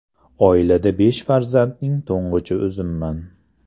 Oilada besh farzandning to‘ng‘ichi o‘zimman.